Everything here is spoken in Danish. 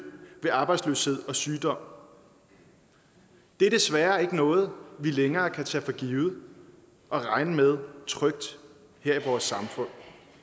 ved arbejdsløshed og sygdom er desværre ikke noget vi længere kan tage for givet og regne med trygt her i vores samfund